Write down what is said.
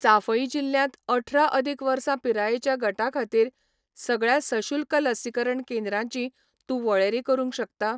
चांफई जिल्ल्यांत अठरा अदीक वर्सां पिरायेच्या गटा खातीर सगळ्या सशुल्क लसीकरण केंद्रांची तूं वळेरी करूंक शकता?